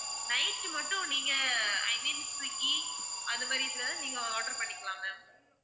night மட்டும் நீங்க I mean Swiggy அது மாதிரி இதுலலாம் நீங்க order பண்ணிக்கலாம் ma'am